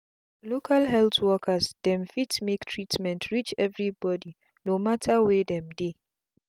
local health worker dem fit make treatment reach everi bodi no mata were dem dey